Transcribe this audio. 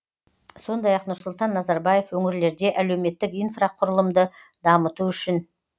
сондай ақ нұрсұлтан назарбаев өңірлерде әлеуметтік инфрақұрылымды дамыту үшін